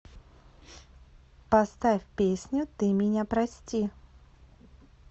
поставь песню ты меня прости